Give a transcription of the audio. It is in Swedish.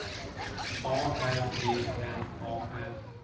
A R E N A N